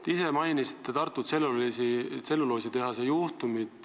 Te ise mainisite Tartu tselluloositehase juhtumit.